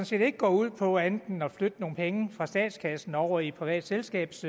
set ikke går ud på andet end at flytte nogle penge fra statskassen over i et privat selskabs